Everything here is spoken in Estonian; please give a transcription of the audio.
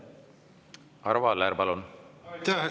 Arvo Aller, palun!